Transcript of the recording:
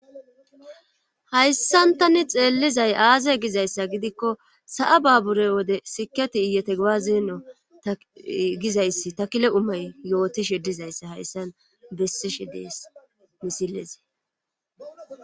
Hayssantani xeellizay aaze gizayssa gidikko sa'a baabure wode siketi iyete gbaazeeno gizayssi takile umay yootishe dizayssa hayssan bessishe dees misilezee.